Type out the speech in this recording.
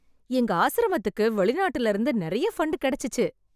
எங்க ஆசிரமத்துக்கு வெளிநாட்டிலிருந்து நிறைய ஃபண்ட் கிடைச்சுச்சு.